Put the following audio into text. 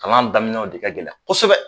Kalan daminɛw de ka gɛlɛ kosɛbɛ